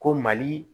Ko mali